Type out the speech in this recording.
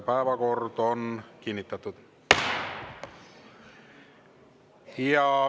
Päevakord on kinnitatud.